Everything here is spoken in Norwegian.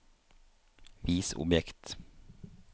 vis objekt